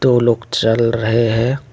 दो लोग चल रहे हैं।